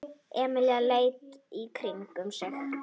Emil leit í kringum sig.